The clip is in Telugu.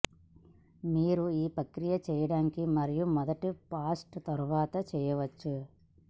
మీరు ఈ ప్రక్రియ చేయడానికి మరియు మొదటి ఫ్రాస్ట్ తర్వాత చేయవచ్చు